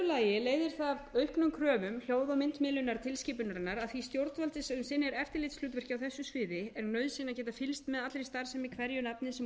lagi leiðir það af auknum kröfum hljóð og myndmiðlunar tilskipunarinnar að því stjórnvaldi sem sinnir eftirlitshlutverki á þessu sviði er nauðsyn að geta fylgst með allri starfsemi hverju nafni sem hún